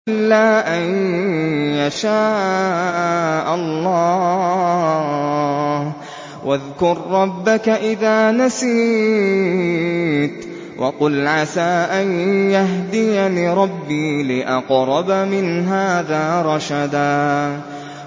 إِلَّا أَن يَشَاءَ اللَّهُ ۚ وَاذْكُر رَّبَّكَ إِذَا نَسِيتَ وَقُلْ عَسَىٰ أَن يَهْدِيَنِ رَبِّي لِأَقْرَبَ مِنْ هَٰذَا رَشَدًا